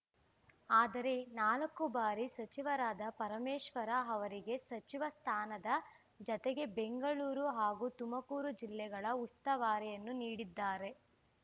ಆದರೆ ನಾಲ್ಕು ಬಾರಿ ಸಚಿವರಾದ ಪರಮೇಶ್ವರ್‌ ಅವರಿಗೆ ಸಚಿವ ಸ್ಥಾನದ ಜತೆಗೆ ಬೆಂಗಳೂರು ಹಾಗೂ ತುಮಕೂರು ಜಿಲ್ಲೆಗಳ ಉಸ್ತುವಾರಿಯನ್ನು ನೀಡಿದ್ದಾರೆ